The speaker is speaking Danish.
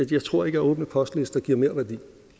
jeg tror ikke at åbne postlister giver merværdi